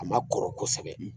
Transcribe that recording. A ma kɔrɔ kosɛbɛ